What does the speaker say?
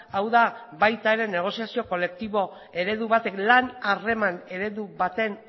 hau da baita ere negoziazio kolektibo eredu batek lan harreman eredu baten